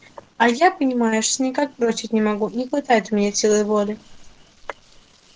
а я понимаешь никак бросить не могу не хватает у меня силы воли